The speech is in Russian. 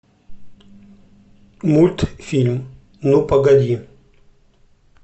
мультфильм ну погоди